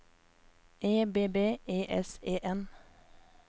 E B B E S E N